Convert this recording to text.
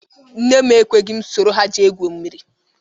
Nne m ekweghị m soro ha jee gwuo mmiri